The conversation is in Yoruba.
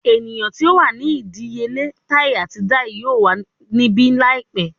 Eniyan ti o wa ni idiyele tai ati dai yoo wa nibi laipẹ